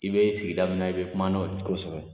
I bɛ sigida min i bɛ kuma n'o ye kosɛbɛ.